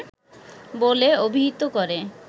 বলে অভিহিত করে